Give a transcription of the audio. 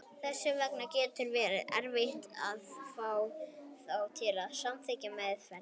Þess vegna getur verið erfitt að fá þá til að samþykkja meðferð.